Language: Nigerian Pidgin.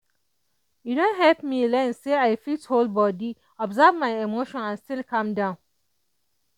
e don help me learn say i fit hold body observe my emotions and still calm down.